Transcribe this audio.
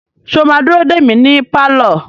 Sọ ma dúró dè mí ní pálọ̀?